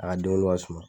A ka den wolo ka suman